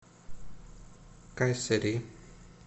кайсери